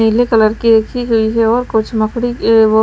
नीले कलर की एक ही हुई है और कुछ मकड़ी वो--